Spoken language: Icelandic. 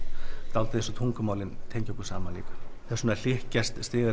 dálítið eins og tungumálin tengja okkur saman líka þess vegna hlykkjast